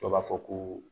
Dɔw b'a fɔ ko